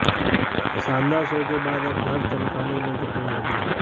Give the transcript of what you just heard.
शानदार शो के बाद अब घर चमकाने में जुटें मोदी